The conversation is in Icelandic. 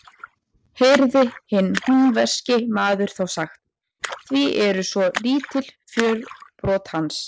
Heyrði hinn húnvetnski maður þá sagt: Hví eru svo lítil fjörbrot hans?